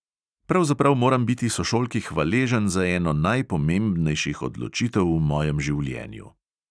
Pravzaprav moram biti sošolki hvaležen za eno najpomembnejših odločitev v mojem življenju.